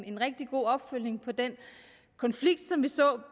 en rigtig god opfølgning på den konflikt som vi så